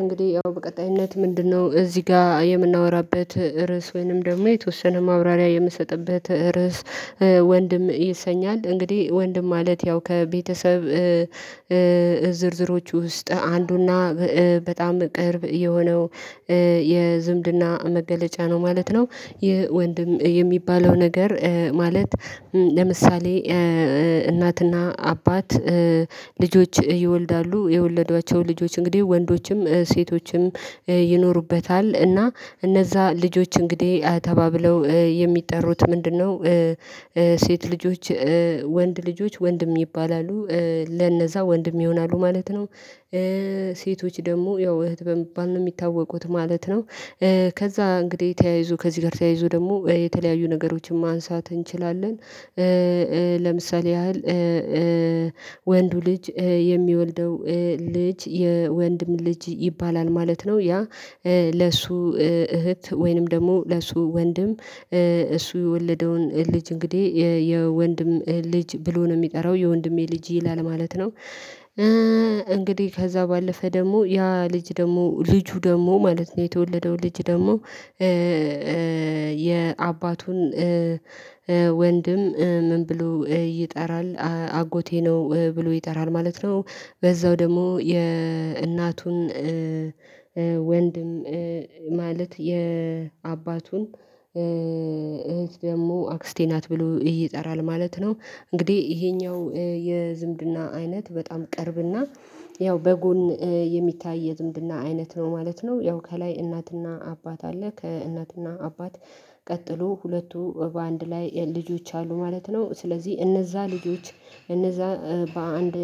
እንግዲህ ያው በቀጣይነት ምንድነው እዚህ ጋር የምናወራበት ርዕስ ወይንም ደግሞ የተወሰነ ማብራሪያ የምሰጥበት ርዕስ? ወንድም ይሰኛል እንግዲህ ወንድም ማለት ያው ከቤተሰብ ዝርዝሮች ውስጥ አንዱና በጣም ቅርብ የሆነው የዝምድና መገለጫ ነው ማለት ነው። ይህ ወንድም የሚባለው ነገር ማለት ለምሳሌ እናትና አባት ልጆች ይወልዳሉ የወለዷቸው ልጆች እንግዲህ ወንዶችም ሴቶችም ይኖሩበታል። እና እነዛ ልጆች እንግዲህ ተባብለው የሚጠሩት ምንድነው? ሴት ልጆች ወንድ ልጆች ወንድም ይባላሉ። ለነዛ ወንድም ይሆናሉ ማለት ነው። ሴቶች ደግሞ ያው እህት በሚባል ነው የሚታወቁት ማለት ነው። ከዛ እንግዲህ ተያይዞ ከዚህ ጋር ተያይዞ ደግሞ የተለያዩ ነገሮችን ማንሳት እንችላለን። ለምሳሌ ያህል ወንዱ ልጅ የሚወልደው ልጅ የወንድም ልጅ ይባላል ማለት ነው። ያ ለሱ እህት ወይንም ደግሞ ለሱ ወንድም እሱ የወለደውን ልጅ እንግዲህ የወንድም ልጅ ብሎ ነው የሚጠራው የወንድሜ ልጅ ይላል ማለት ነው። እንግዲህ ከዛ ባለፈ ደግሞ ያ ልጅ ደግሞ ልጁ ደግሞ ማለት ነው የተወለደው ልጅ ደግሞ የአባቱን ወንድም ምን ብሎ ይጠራል አጎቴ ነው ብሎ ይጠራል ማለት ነው። በዛው ደግሞ የእናቱን ወንድም ማለት የአባቱን እህት ደግሞ አክስቴ ናት ብሎ ይጠራል ማለት ነው። እንግዲህ ይሄኛው የዝምድና አይነት በጣም ቅርብ እና ያው በጎን የሚታይ የዝምድና አይነት ነው ማለት ነው። ያው ከላይ እናትና አባት አለ ከእናትና አባት ቀጥሎ ሁለቱ በአንድ ላይ ልጆች አሉ ማለት ነው። ስለዚህ እነዛ ልጆች እነዛ በአንድ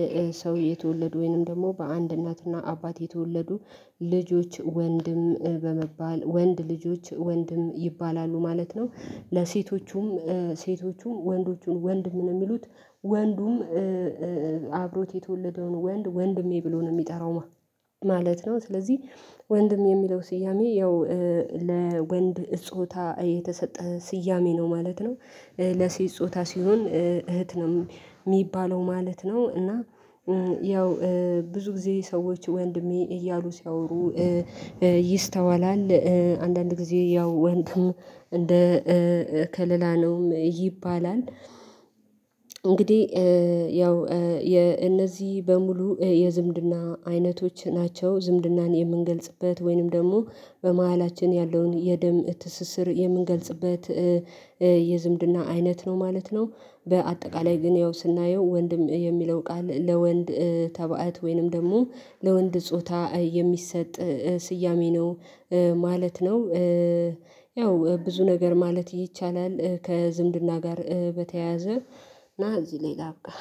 ሰው የተወለዱ ወይንም ደግሞ በአንድ እናትና አባት የተወለዱ ልጆች ወንድም በመባል ወንድ ልጆች ወንድም ይባላሉ ማለት ነው። ለሴቶቹም ሴቶቹም ወንዶቹን ወንድም ነው የሚሉት። ወንዱም አብሮት የተወለደውን ወንድ ወንድሜ ብሎ ነው የሚጠራው ማለት ነው። ስለዚህ ወንድም የሚለው ስያሜ ያው ለወንድ ጾታ የተሰጠ ስያሜ ነው ማለት ነው። ለሴት ጾታ ሲሆን እህት ነው የሚባለው ማለት ነው። እና ያው ብዙ ጊዜ ሰዎች ወንድሜ እያሉ ሲያወሩ ይስተዋላል። አንዳንድ ጊዜ ያው ወንድም እንደ ከለላ ነውም ይባላል። እንግዲህ ያው የእነዚህ በሙሉ የዝምድና አይነቶች ናቸው ዝምድናን የምንገልጽበት ወይንም ደግሞ በመሃላችን ያለውን የደም ትስስር የምንገልጽበት የዝምድና አይነት ነው ማለት ነው። በአጠቃላይ ግን ያው ስናየው ወንድም የሚለው ቃል ለወንድ ተባዕት ወይንም ደግሞ ለወንድ ጾታ የሚሰጥ ስያሜ ነው ማለት ነው። ያው ብዙ ነገር ማለት ይቻላል ከዝምድና ጋር በተያያዘ እና እዚህ ላይ ላብቃ